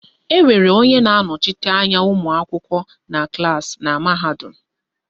Enwere onye na-anọchite anya ụmụakwụkwọ na klaasị na mahadum